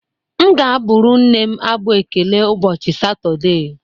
M ga-abụrụ nne m abụ ekele ụbọchị Satọde